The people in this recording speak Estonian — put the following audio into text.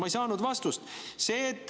Ma ei saanud vastust.